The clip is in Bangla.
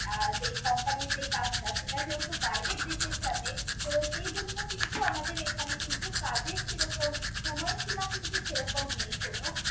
যেই company এর যেই কাজটা সেটা যেহেতু বাইরের দেশের সাথে তো সেইজন্য কিন্তু আমাদের এখানে কিন্তু কাজের সেরকম সময় সীমা কিন্তু সেরকম নেই কোনো